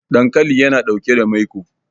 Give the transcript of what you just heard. dankali yana ɗauke da maiko